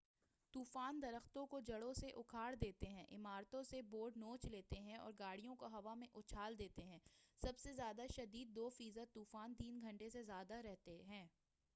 طُوفان درختوں کو جڑوں سے اُکھاڑ دیتے ہیں عمارتوں سے بورڈز نوچ لیتے ہیں اور گاڑیوں کو ہوا میں اُچھال دیتے ہیں سب سے زیادہ شدید دو فیصد طُوفان تین گھنٹے سے زیادہ تک رہتے ہیں